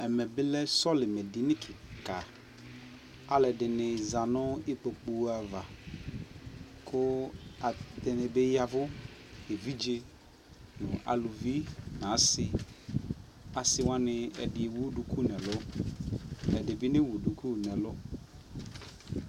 ɛmɛ bi lɛ sɔlimɛ dini kikaa, alʋɛdini zanʋ ikpɔkʋ aɣa, kʋ ɛdini bi yavʋ ,ɛvidzɛ nʋ alʋvi nʋ asii, asii wani, ɛdi ɛwʋ dʋkʋ nʋ ɛlʋ, ɛdibi nɛwʋ dʋkʋ nʋɛlʋ